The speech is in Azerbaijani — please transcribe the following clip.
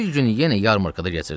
Bir gün yenə Yarmırqada keçirdim.